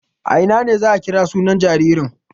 A ina ne za a kira sunan jaririn?